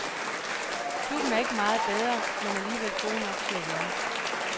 Klubben er ikke meget bedre men alligevel gode nok til at vinde.